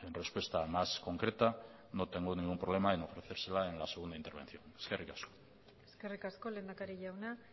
respuesta más concreta no tengo ningún problema en ofrecérsela en la segunda intervención eskerrik asko eskerrik asko lehendakari jauna